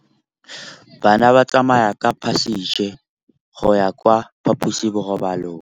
Bana ba tsamaya ka phašitshe go ya kwa phaposiborobalong.